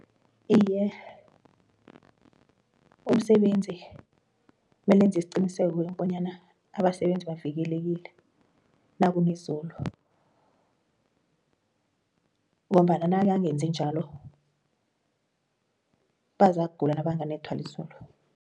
Iye umsebenzi mele enze isiqiniseko bonyana abasebenzi bavikelekile nakuna izulu ngombana nakangenzi njalo bazakugula nabanganethwa lizulu.